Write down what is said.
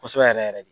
Kosɛbɛ yɛrɛ yɛrɛ de